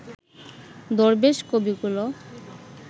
দরবেশ কবিকুলও